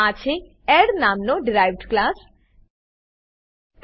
આ છે એડ નામનો ડિરાઇવ્ડ ક્લાસ ડીરાઇવ્ડ ક્લાસ